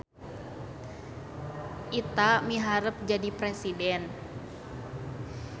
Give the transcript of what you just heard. Ita miharep jadi presiden